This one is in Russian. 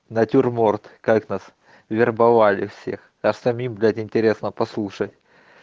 натюрморт как нас вербовали всех остальным блять интересно послушать